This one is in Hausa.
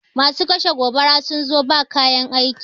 Masu kashe gobara sun zo ba kayan aiki